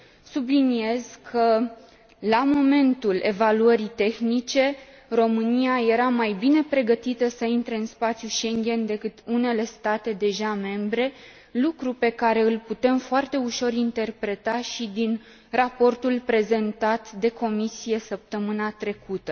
Subliniez că, la momentul evaluării tehnice, România era mai bine pregătită să intre în spațiul Schengen decât unele state deja membre, lucru pe care îl putem foarte ușor interpreta și din raportul prezentat de Comisie săptămâna trecută.